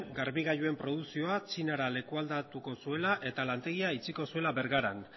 garbigailuen produkzioa txinara lekualdatuko zuela eta lantegia itxiko zuela bergaran